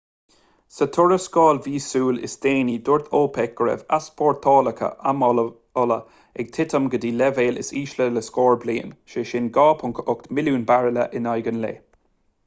sa tuarascáil mhíosúil is déanaí dúirt opec go raibh easpórtálacha amhola ag titim go dtí an leibhéal is ísle le scór bliain sé sin 2.8 milliún bairille in aghaidh an lae